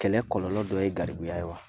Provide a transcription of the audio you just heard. Kɛlɛ kɔlɔlɔ dɔ ye garibuya ye wa